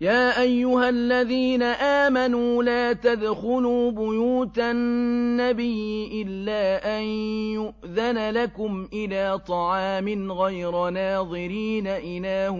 يَا أَيُّهَا الَّذِينَ آمَنُوا لَا تَدْخُلُوا بُيُوتَ النَّبِيِّ إِلَّا أَن يُؤْذَنَ لَكُمْ إِلَىٰ طَعَامٍ غَيْرَ نَاظِرِينَ إِنَاهُ